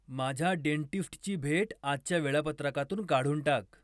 माझ्या डेंटिस्टची भेट आजच्या वेळापत्रकातून काढून टाक